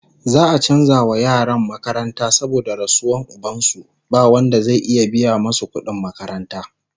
za'a chanza wa yaran makaranta saboda rasuwan ubansu, ba Wanda zai iya biya masu kudin makaranta